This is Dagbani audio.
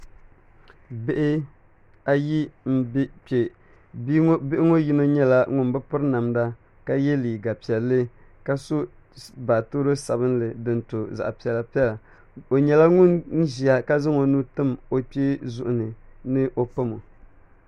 Bihi ayi n bɛ kpɛ bihi ŋo yino nyɛla ŋun bi piri namda ka yɛ liiga piɛlli ka so baatoro sabinli din to zaɣ piɛla piɛla o nyɛla ŋun ʒiya ka zaŋ o nuu tim o kpee zuɣu ni ni o pamo